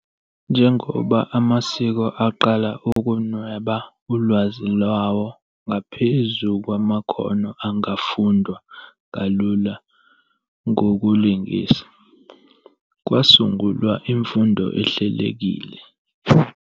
Njengoba amasiko aqala ukunweba ulwazi lwawo ngaphezu kwamakhono angafundwa kalula ngokulingisa, kwasungulwa imfundo ehlelekile.